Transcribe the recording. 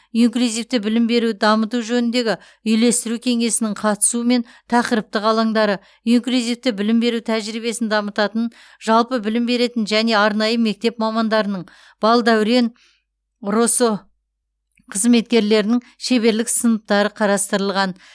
инклюзивті білім беруді дамыту жөніндегі үйлестіру кеңесінің қатысуымен тақырыптық алаңдары инклюзивті білім беру тәжірибесін дамытатын жалпы білім беретін және арнайы мектеп мамандарының балдәурен росо қызметкерлерінің шеберлік сыныптары қарастырылған